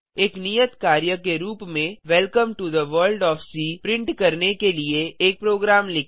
एक नियत कार्य के रूप में welcome to the world of C print करने के लिए एक प्रोग्राम लिखें